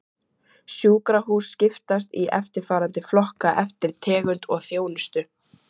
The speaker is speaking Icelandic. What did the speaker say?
Sjúkrahús skiptast í eftirfarandi flokka eftir tegund og þjónustu